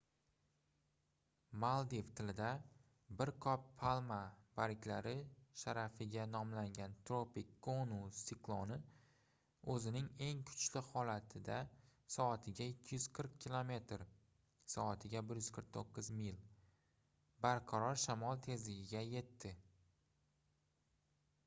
maldiv tilida bir qop palma barglari sharafiga nomlangan tropik gonu sikloni o'zining eng kuchli holatida soatiga 240 kilometr soatiga 149 mil barqaror shamol tezligiga yetdi